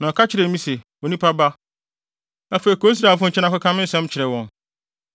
Na ɔka kyerɛɛ me se, “Onipa ba, afei kɔ Israelfo nkyɛn na kɔka me nsɛm kyerɛ wɔn.